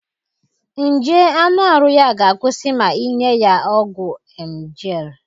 Nje aṅụ arụ ya ga akwusi ma inye ya ọgwụ emgyl